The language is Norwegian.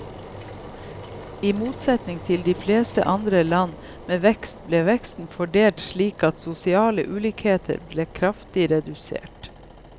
I motsetning til de fleste andre land med vekst, ble veksten fordelt slik at sosiale ulikheter ble kraftig redusert.